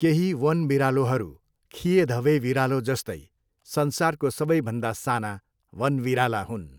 केही वन बिरालोहरू खिएधबे बिरालो जस्तै संसारको सबैभन्दा साना वन बिराला हुन्छन्।